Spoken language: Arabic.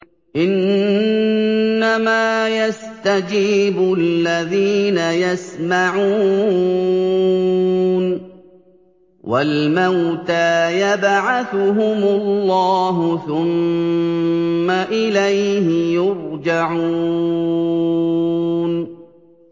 ۞ إِنَّمَا يَسْتَجِيبُ الَّذِينَ يَسْمَعُونَ ۘ وَالْمَوْتَىٰ يَبْعَثُهُمُ اللَّهُ ثُمَّ إِلَيْهِ يُرْجَعُونَ